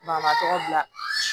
Banabatɔ bila